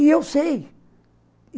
E eu sei.